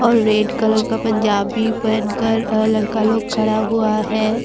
और red colour का पंजाबी पहन कर अ लड़का लोग खड़ा हुआ है।